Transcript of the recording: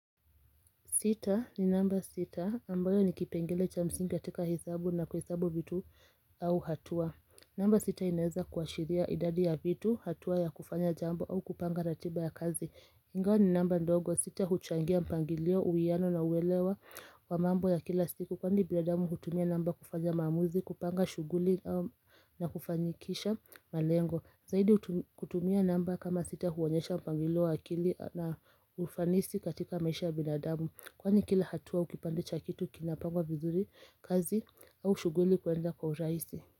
Sita ni namba sita, ambayo ni kipengele cha msingi katika hesabu na kuhesabu vitu au hatua. Namba sita inaweza kuashiria idadi ya vitu, hatua ya kufanya jambo au kupanga ratiba ya kazi. Ingawa ni namba ndogo, sita huchangia mpangilio, uwiano na uelewa wa mambo ya kila siku. Kwani binadamu hutumia namba kufanya maamuzi, kupanga shughuli na kufanyikisha malengo. Zahidi kutumia namba kama sita, huonyesha mpangilio wa akili na ufanisi katika maisha ya binadamu. Kwani kila hatua au kipande cha kitu kinapangwa vizuri, kazi au shughuli kwenda kwa urahisi.